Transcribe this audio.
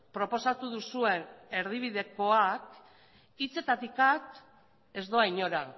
proposatu duzue erdibidekoak hitzetatik at ez doa inora